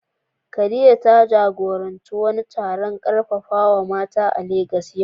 Khadija, ta jagoranci wani taron karfafawa mata a Legas yau.